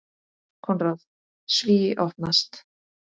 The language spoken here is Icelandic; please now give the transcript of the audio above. Konráð: Svíi opnast.